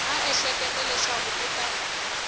a ehleketa leswaku u ta